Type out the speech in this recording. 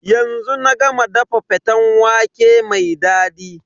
Yanzu na ga ma dafa faten waƙe mai dadi.